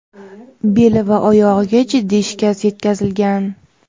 beli va oyog‘iga jiddiy shikast yetkazilgan.